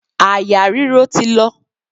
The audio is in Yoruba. Àyà ríro ti lọ.